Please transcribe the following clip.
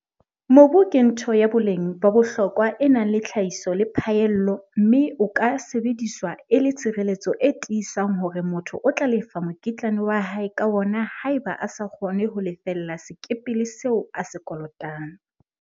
Mobu ke ntho ya boleng ba bohlokwa e nang le tlhahiso le phaello mme o ka sebediswa e le tshireletso e tiisang hore motho o tla lefa mokitlane wa hae ka wona haeba a sa kgone ho lefella sekepele seo a se kolotang.